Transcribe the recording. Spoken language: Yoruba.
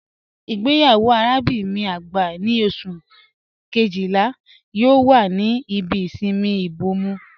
Igbeyawo arábinrin mi agbá ni Ọṣù kejìlá yoo wà ní ìbí ìṣinmí Ìbòmọ́